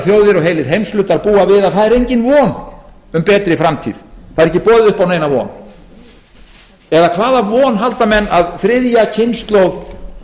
og heilir heimshlutar búa við að það er engin von um betri framtíð það er ekki boðið upp á neina von eða hvaða von halda menn að þriðja kynslóð